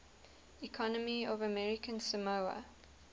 economy of american samoa